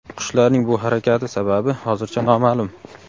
Qushlarning bu harakati sababi hozircha noma’lum.